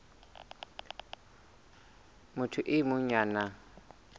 motho e mong ya nang